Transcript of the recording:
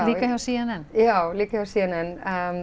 líka hjá c n n já líka hjá c n n